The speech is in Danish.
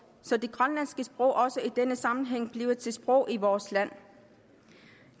så det grønlandske sprog også i denne sammenhæng bliver til et sprog i vores land